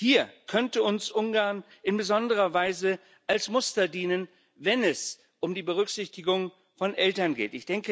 Hier könnte uns Ungarn in besonderer Weise als Muster dienen, wenn es um die Berücksichtigung von Eltern geht.